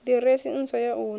ḓiresi ntswa ya hu ne